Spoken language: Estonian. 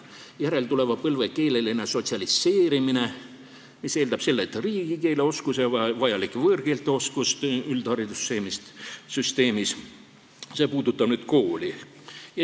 Järeltuleva põlve keeleline sotsialiseerimine eeldab üldharidussüsteemis riigikeeleoskust ja vajalike võõrkeelte oskust, see puudutab nüüd kooli.